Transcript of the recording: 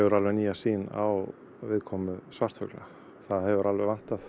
alveg nýja sýn á viðkomu svartfugla það hefur alveg vantað